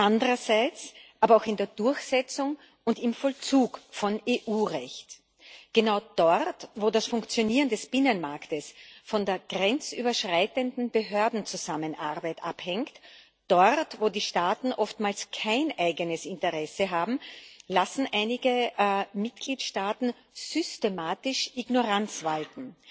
Andererseits aber auch in der Durchsetzung und im Vollzug von EU Recht genau dort, wo das Funktionieren des Binnenmarkts von der grenzüberschreitenden Behördenzusammenarbeit abhängt, dort, wo die Staaten oftmals kein eigenes Interesse haben, lassen einige Mitgliedstaaten systematisch Ignoranz walten.